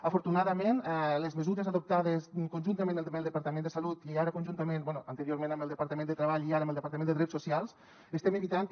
afortunadament les mesures adoptades conjuntament amb el departament de salut anteriorment amb el departament de treball i ara amb el departament de drets socials estem evitant que